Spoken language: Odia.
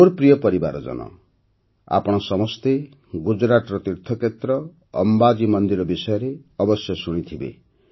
ମୋର ପ୍ରିୟ ପରିବାରଜନ ଆପଣ ସମସ୍ତେ ଗୁଜରାଟର ତୀର୍ଥକ୍ଷେତ୍ର ଅମ୍ବାଜୀ ମନ୍ଦିର ବିଷୟରେ ଅବଶ୍ୟ ଶୁଣିଥିବେ